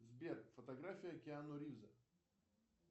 сбер фотография киану ривза